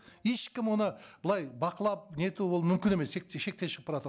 ешкім оны былай бақылап нету ол мүмкін емес шектен шығып бара жатыр